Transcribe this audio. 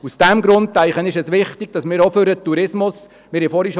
Madeleine Amstutz hat vorhin für den Tourismus gesprochen.